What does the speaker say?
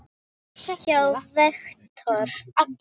hjá Vektor.